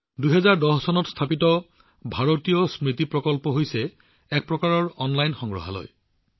২০১০ চনত স্থাপিত ভাৰতীয় স্মৃতি প্ৰকল্প হৈছে এক প্ৰকাৰৰ অনলাইন সংগ্ৰহালয়